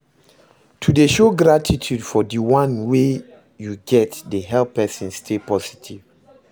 To de show gratitude for di one wey you get de help persin stay positive